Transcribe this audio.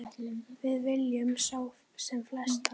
Við viljum sjá sem flesta.